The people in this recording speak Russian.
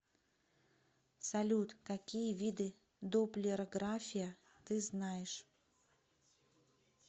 салют какие виды допплерография ты знаешь